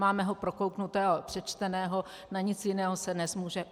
Máme ho prokouknutého, přečteného, na nic jiného se nezmůže.